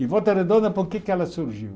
E Volta Redonda, por que é que ela surgiu?